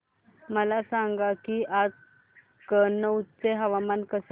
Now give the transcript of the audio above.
मला सांगा की आज कनौज चे हवामान कसे आहे